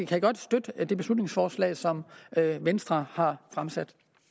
kan godt støtte det beslutningsforslag som venstre har fremsat